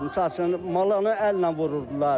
Misal üçün malanı əllə vururdular.